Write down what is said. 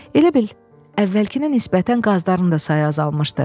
Elə bil, əvvəlkinə nisbətən qazların da sayı azalmışdı.